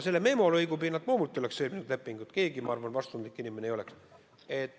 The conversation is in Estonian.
Selle ühe memolõigu pinnalt ma loomulikult lepingut sõlminud ei oleks, ma arvan, et mitte ükski vastutustundlik inimene ei oleks.